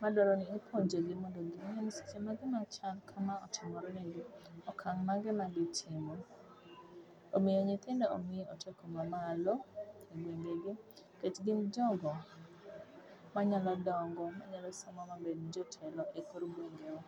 madwaro ni ipuonjogi mondo ging'e ni seche ma gima chal kama otimore negi, okang' mane ma gitimo. Omiyo nyithindo omi otiko mamalo e gwengegi nikech gin jogo manyalo dongo, manyalo somo ma bed jotelo e kor gwengewa.